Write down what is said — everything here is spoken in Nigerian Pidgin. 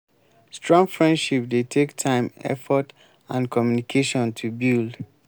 strong friendship dey take time effort and communication to build